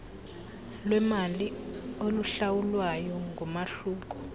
lwemali oluhlawulwayo ngumahluko